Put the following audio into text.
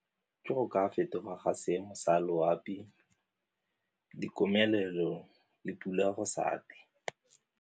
Ke go ka go ka fetoga ga seemo sa loapi, dikomelelo le pula go sa .